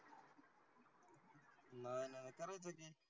नाही नाही करायचं की,